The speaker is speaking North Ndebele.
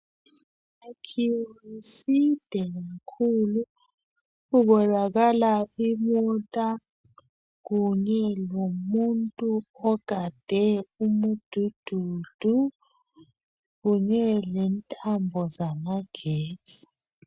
Isakhiwo eside kakhulu kubonaka imota kunye lomuntu ogade umudududu kunye lentambo zamagesti